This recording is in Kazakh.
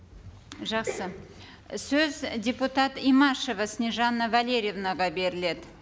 жақсы сөз депутат имашева снежанна валерьевнаға беріледі